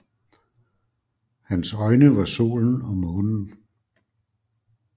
Hans øjne var solen og månen